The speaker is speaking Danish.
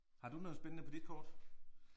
Har du noget spændende på dit kort?